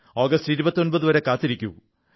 August 29 വരെ കാത്തിരിക്കൂ